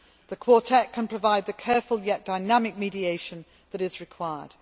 it. The Quartet can provide the careful, yet dynamic, mediation that is required.